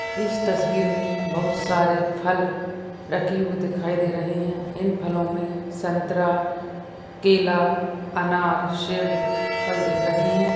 इस तस्वीरमें बहुतसारे फल रखे हुए दिखाई दे रहे है इन फलोमें संतरा केला अनार सेब फल दिख रहे है।